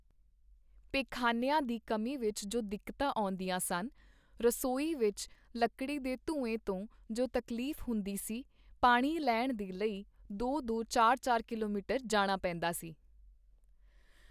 ਪਖਾਨਿਆਂ ਦੀ ਕਮੀ ਵਿੱਚ ਜੋ ਦਿੱਕਤਾਂ ਆਉਂਦੀਆਂ ਸਨ, ਰਸੋਈ ਵਿੱਚ ਲੱਕੜੀ ਦੇ ਧੂੰਏਂ ਤੋਂ ਜੋ ਤਕਲੀਫ਼ ਹੁੰਦੀ ਸੀ, ਪਾਣੀ ਲੈਣ ਦੇ ਲਈ ਦੋ ਦੋ, ਚਾਰ ਚਾਰ ਕਿਲੋਮੀਟਰ ਜਾਣਾ ਪੇਂਦਾ ਸੀ।